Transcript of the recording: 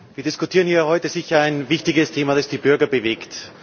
Wir diskutieren hier heute sicher ein wichtiges Thema, das die Bürger bewegt.